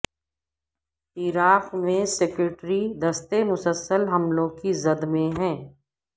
عراق میں سیکیورٹی دستے مسلسل حملوں کی زد میں ہیں